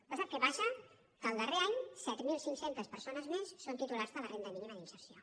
però sap què passa que al darrer any set mil cinc cents persones més són titulars de la renda mínima d’inserció